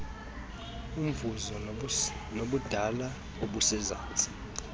mvuzo nobudala obusezantsi